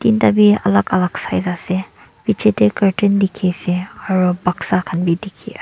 Tinta bi alak alak size ase bichae tae curtain dikhiase aro baksa khan bi dikhiase.